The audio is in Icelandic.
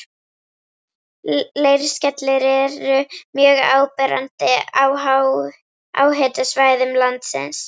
Leirskellur eru mjög áberandi á háhitasvæðum landsins.